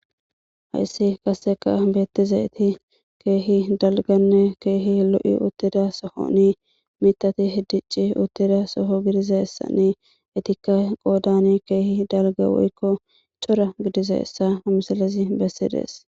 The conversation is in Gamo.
Hayssi kasseka beettiza iti keehi dalganne keehi lo7i uttida soho ni tati hiddici uttida soho gidizeessa ni itikka qoodani keehi dalga woykko cora gidize essa amisalezi bessidees